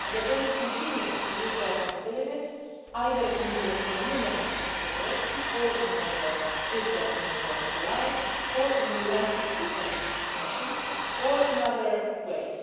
They are also going to continue to use their capabilities, either in European Union missions and operations or in NATO if they are NATO allies, or in UN peace keeping missions or in other ways.